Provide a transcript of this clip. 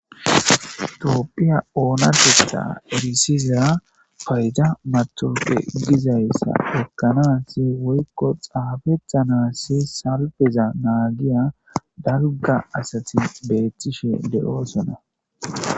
toopphiya oonateththa erisiza payda matawaqqa gizayssa ekkanaasi woykko xaafettanasi salpeza naagiya dalgga Asati beethtishe de7oosonna.